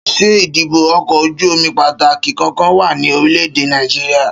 Ṣé ìdíkọ̀ ọkọ̀ ojú-omi pàtàkì kankan wà ní orílẹ̀ èdè Nàìjíríà?